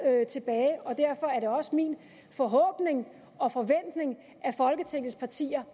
tilbage og derfor er det også min forhåbning og forventning at folketingets partier